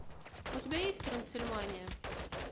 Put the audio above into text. у тебя есть трансильвания